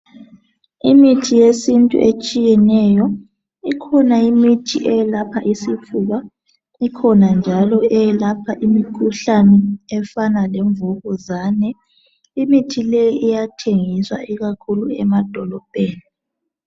Imithi yesintu etshiyeneyo. Ikhona imithi eyelapha isifuba ikhona njalo eyelapha imikhuhlane efana lemvukuzane. Imithi leyi iyathengiswa ikakhulu emadolobheni.